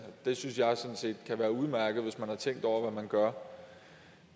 det synes jeg sådan set kan være udmærket hvis man har tænkt over hvad man gør